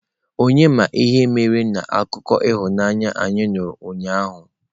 Onye ma ihe mere na akụkọ ịhụnanya anyị nụrụ ụnyaahụ?